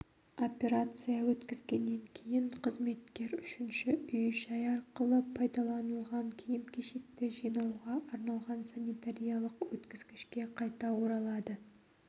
операция өткізгеннен кейін қызметкер үшінші үй-жай арқылы пайдаланылған киім-кешекті жинауға арналған санитариялық өткізгішке қайта оралады